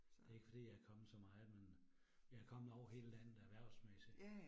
Så det ikke fordi jeg kommet så meget, men jeg er kommet over hele landet erhvervsmæssigt